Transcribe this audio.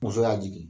Muso y'a jigin